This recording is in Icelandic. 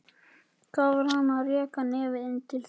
Hvað var hann að reka nefið inn til þeirra?